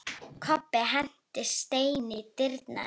Kobbi henti steini í dyrnar.